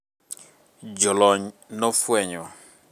jolony nofwenyo